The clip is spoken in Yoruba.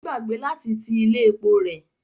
Ó gbàgbé láti ti ilé epo rẹ̀.